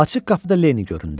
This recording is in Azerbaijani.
Açıq qapıda Leni göründü.